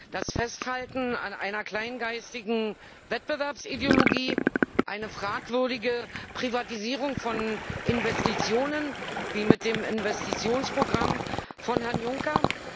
Das Festhalten an einer kleingeistigen Wettbewerbsideologie, eine fragwürdige Privatisierung von Investitionen wie mit dem Investitionsprogramm von Herrn Juncker?